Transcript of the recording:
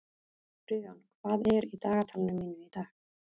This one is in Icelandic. Friðjón, hvað er í dagatalinu mínu í dag?